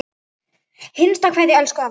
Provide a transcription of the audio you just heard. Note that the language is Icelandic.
HINSTA KVEÐJA Elsku afi Kiddi.